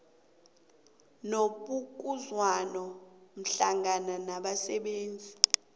nebokuzwana hlangana nabasebenzi